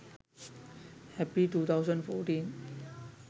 happy 2014